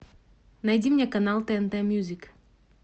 найди мне канал тнт мьюзик